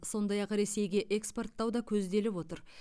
сондай ақ ресейге экспорттау да көзделіп отыр